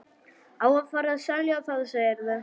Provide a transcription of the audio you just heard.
Á að fara að selja það, segirðu?